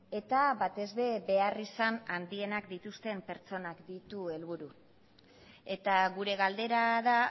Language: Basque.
eta batez ere beharrizan handienak dituzten pertsonak ditu helburu eta gure galdera da